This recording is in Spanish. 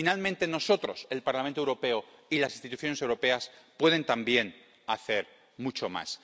Finalmente, nosotros, el Parlamento Europeo y las instituciones europeas podemos también hacer mucho más.